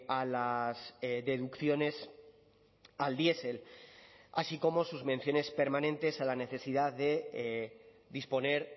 a las deducciones al diesel así como sus menciones permanentes a la necesidad de disponer